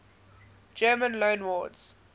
german loanwords